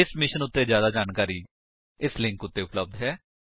ਇਸ ਮਿਸ਼ਨ ਉੱਤੇ ਜਿਆਦਾ ਜਾਣਕਾਰੀ ਇਸ ਲਿੰਕ ਉੱਤੇ ਉਪਲੱਬਧ ਹੈ